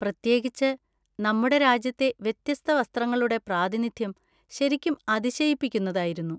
പ്രത്യേകിച്ച്, നമ്മുടെ രാജ്യത്തെ വ്യത്യസ്ത വസ്ത്രങ്ങളുടെ പ്രാതിനിധ്യം ശരിക്കും അതിശയിപ്പിക്കുന്നതായിരുന്നു.